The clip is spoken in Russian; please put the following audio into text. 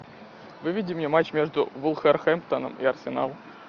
выведи мне матч между вулверхэмптоном и арсенал